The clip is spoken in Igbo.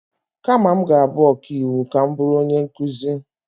Kama m ga-abụ ọkaiwu, ka m bụrụ onye nkụzi.